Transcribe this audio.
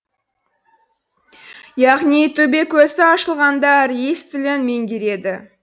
яғни төбекөзі ашылғандар и с тілін меңгереді